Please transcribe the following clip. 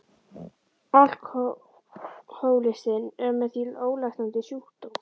Alkohólistinn er því með ólæknandi sjúkdóm.